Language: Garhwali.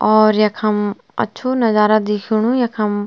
और यखम अच्छु नजारा दिखेणु यखम।